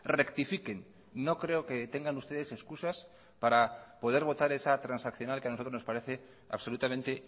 rectifiquen no creo que tengan ustedes excusas para poder votar esa transaccional que a nosotros nos parece absolutamente